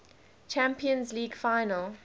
champions league final